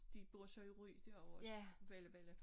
De bor så i Ry dér vores bellabella